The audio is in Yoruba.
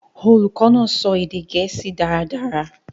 Olukọ naa sọ ede Gẹẹsi dàradàra.